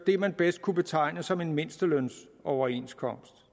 det man bedst kunne betegne som en mindstelønsoverenskomst